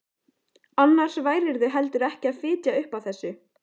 Annars værirðu heldur ekki að fitja upp á þessu.